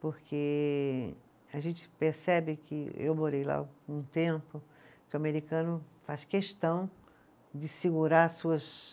Porque a gente percebe que eu morei lá um tempo, que o americano faz questão de segurar as suas